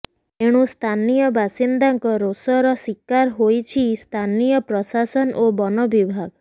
ତେଣୁ ସ୍ଥାନୀୟ ବାସିନ୍ଦାଙ୍କ ରୋଷର ଶିକାର ହୋଇଛି ସ୍ଥାନୀୟ ପ୍ରଶାସନ ଓ ବନ ବିଭାଗ